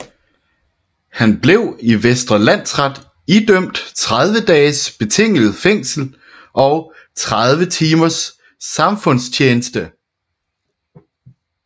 Han blev i Vestre Landsret idømt 30 dages betinget fængsel og 30 timers samfundstjeneste